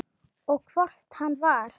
Og hvort hann var.